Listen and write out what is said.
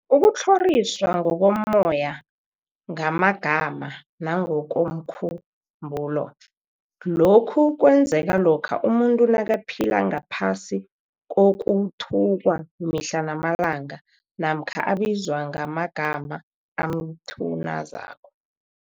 Ukutlhoriswa ngokommoya, ngamagama, nangokomkhu mbulo, lokhu kwenzeka lokha umuntu nakaphila ngaphasi kokuthukwa mihla namalanga, namkha abizwe ngamagama amthunazako.